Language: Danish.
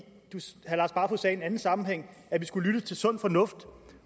anden sammenhæng at vi skulle lytte til sund fornuft